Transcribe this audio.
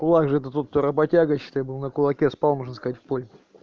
у вас же ты тут то работяга считай был на кулаке спал можно сказать в пой